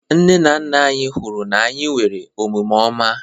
Nne na nna anyị hụrụ na anyị nwere omume ọma.